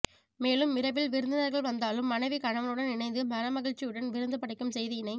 மேலும் இரவில் விருந்தினர்கள் வந்தாலும் மனைவி கணவனுடன் இனைந்து மனமகிழ்ச்சியுடன் விருந்து படைக்கும் செய்தியினை